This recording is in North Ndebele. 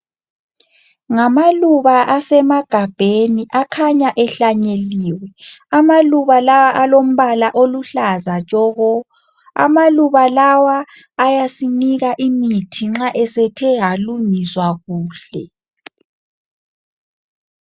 Ngamaluba asemagabheni akhanya ehlanyeliwe, amaluba lawa alombala oluhlaza tshoko, amaluba lawa ayasinika imithi nxa esethe alungiswa kuhle.